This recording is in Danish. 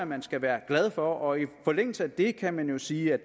man skal være glad for i forlængelse af det kan man jo sige at